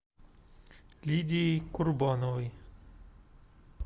лидией курбановой